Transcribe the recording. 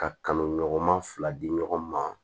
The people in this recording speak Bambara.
Ka kan ɲɔgɔn ma fila di ɲɔgɔn ma